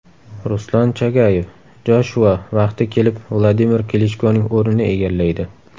Ruslan Chagayev: Joshua vaqti kelib Vladimir Klichkoning o‘rnini egallaydi.